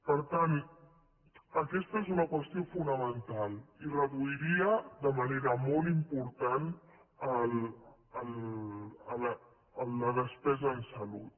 per tant aquesta és una qüestió fonamental i reduiria de manera molt important la despesa en salut